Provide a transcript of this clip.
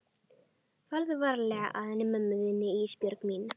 Farðu varlega að henni mömmu þinni Ísbjörg mín.